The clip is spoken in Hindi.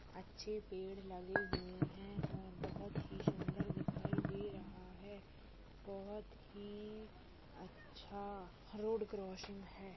अच्छे पेड़ लगे हुआ है और बहुत ही सुंदर दिखाई दे रहा है बहुत ही अच्छा रोड क्रासिंग है।